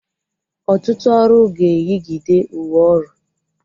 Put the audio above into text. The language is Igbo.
Ọtụtụ ọrụ ga-eyigide uwe ọrụ